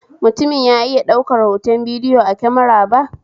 Mutumin ya iya daukar hoton bidiyo a kemara ba?